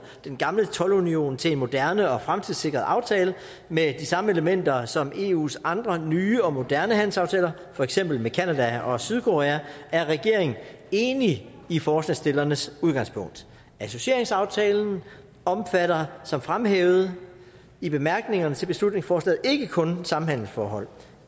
den gamle toldunion til en moderne og fremtidssikret aftale med de samme elementer som eus andre nye og moderne handelsaftaler for eksempel med canada og sydkorea er regeringen enig i forslagsstillernes udgangspunkt associeringsaftalen omfatter som fremhævet i bemærkningerne til beslutningsforslaget ikke kun samhandelsforhold